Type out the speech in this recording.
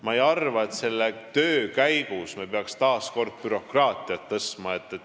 Ma ei arva, et selle töö käigus me peaks taas kord bürokraatiat suurendama.